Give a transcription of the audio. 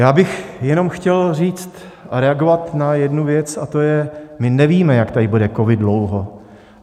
Já bych jenom chtěl říct a reagovat na jednu věc, a to je, my nevíme, jak tady bude covid dlouho.